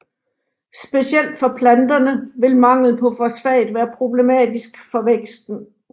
Specielt for planterne vil mangel på fosfat være problematisk for væksten